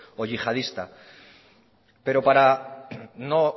o yihadista pero para no